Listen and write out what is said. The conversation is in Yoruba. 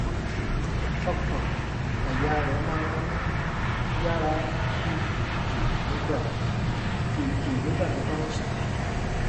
ọkàn-àyà rẹ̀ máa ń yára lù kìkì nígbà kìkì nígbà tó bá ń sùn